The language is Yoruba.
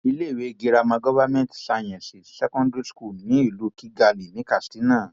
iléèwé girama government science secondary school ní ìlú kigali ní katsina